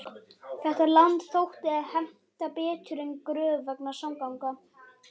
Þetta land þótti henta betur en Gröf vegna samgangna.